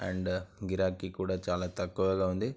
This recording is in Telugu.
అండ్ గిరాకీ కూడా చాలా తక్కువుగా ఉంది.